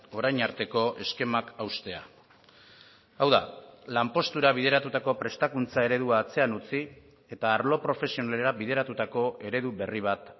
orain arteko eskemak haustea hau da lanpostura bideratutako prestakuntza eredua atzean utzi eta arlo profesionalera bideratutako eredu berri bat